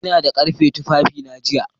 Ina da ƙarfe tufafina jiya